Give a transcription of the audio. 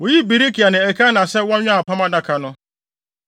Woyii Berekia ne Elkana sɛ wɔnwɛn Apam Adaka no.